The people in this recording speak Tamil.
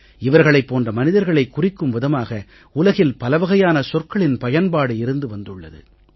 இவர்களைப் போன்ற மனிதர்களைக் குறிக்கும் விதமாக உலகில் பல வகையான சொற்களின் பயன்பாடு இருந்து வந்துள்ளது